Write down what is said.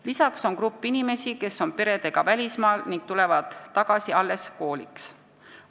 Lisaks on grupp inimesi, kes on kogu perega välismaal ning tulevad tagasi alles kooliks.